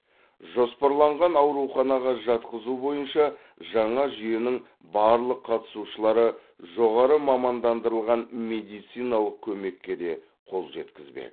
жоспарланған ауруханаға жатқызу бойынша жаңа жүйенің барлық қатысушылары жоғары мамандандырылған медициналық көмекке де қол жеткізбек